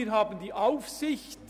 Uns obliegt die Aufsicht.